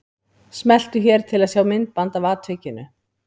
Smeltu hér til að sjá myndband af atvikinu